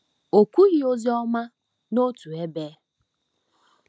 O kwughị ozi ọma n’otu ebe.